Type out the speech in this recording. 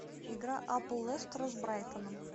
игра апл лестера с брайтоном